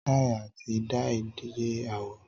Tai ati dai jẹ awọ.